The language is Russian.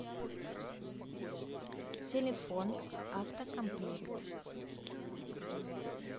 телефон автокомплект